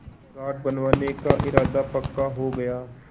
घाट बनवाने का इरादा पक्का हो गया